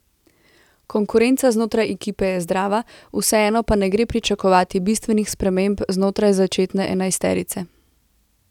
Konkurenca znotraj ekipe je zdrava, vseeno pa ne gre pričakovati bistvenih sprememb znotraj začetne enajsterice.